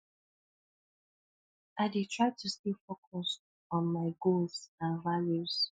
i dey try to stay focused on my goals and values